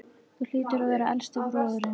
Þú hlýtur að vera elsti bróðirinn.